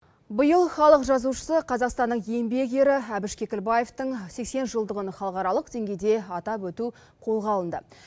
биыл халық жазушысы қазақстанның еңбек ері әбіш кекілбаевтың сексен жылдығын халықаралық деңгейде атап өту қолға алынды